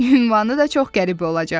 Ünvanı da çox qəribə olacaq.